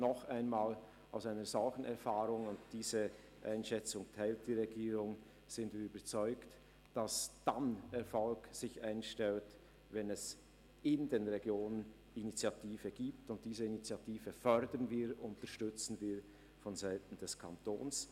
Noch einmal: Aus diesen Erfahrungen heraus – und die Regierung teilt diese Einschätzung – sind wir überzeugt, dass sich der Erfolg dann einstellt, wenn es in den Regionen eine Initiative gibt – und diese fördern und unterstützen wir vonseiten des Kantons.